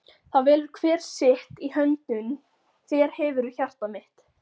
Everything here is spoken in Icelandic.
það velur hver sitt- í höndum þér hefurðu hjarta mitt.